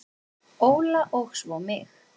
Óla og svo mig.